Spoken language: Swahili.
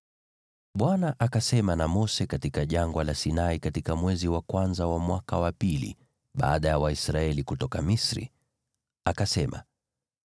Bwana akasema na Mose katika Jangwa la Sinai katika mwezi wa kwanza wa mwaka wa pili baada ya Waisraeli kutoka Misri. Akasema,